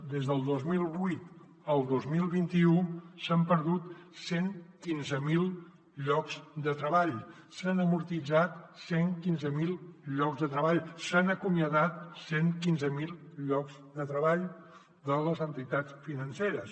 des del dos mil vuit al dos mil vint u s’han perdut cent i quinze mil llocs de treball s’han amortitzat cent i quinze mil llocs de treball s’han acomiadat cent i quinze mil llocs de treball de les entitats financeres